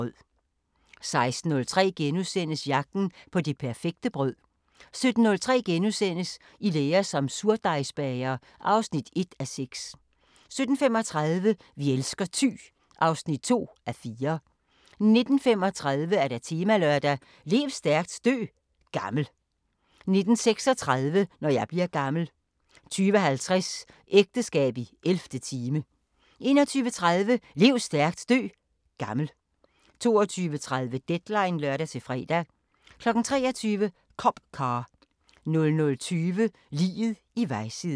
16:03: Jagten på det perfekte brød * 17:03: I lære som surdejsbager (1:6)* 17:35: Vi elsker Thy (2:4) 19:35: Temalørdag: Lev stærkt, dø gammel 19:36: Når jeg bliver gammel 20:50: Ægteskab i 11. time 21:30: Lev stærkt, dø gammel 22:30: Deadline (lør-fre) 23:00: Cop Car 00:20: Liget i vejsiden